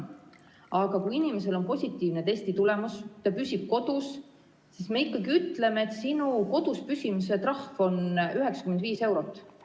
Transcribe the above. Aga kui inimesel on positiivne testitulemus ja ta püsib kodus, siis me ikkagi ütleme, et sinu koduspüsimise trahv on 95 eurot.